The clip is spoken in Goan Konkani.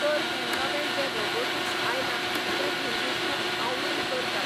तर हें नवें जें रोबोटिक्स आयलां तें भुरगीं खूब आवडीन करतात.